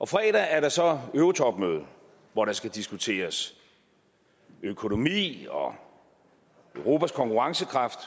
fredag er der så eurotopmøde hvor der skal diskuteres økonomi og europas konkurrencekraft